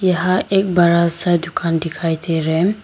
यहां एक बड़ा सा दुकान दिखाई दे रहे हैं।